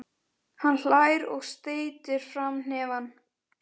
Hann hlær og steytir fram hnefann.